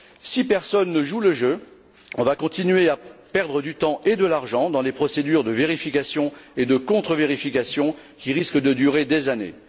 Si personne ne joue le jeu, on va continuer à perdre du temps et de l'argent dans des procédures de vérification et de contre vérification qui risquent de durer des années.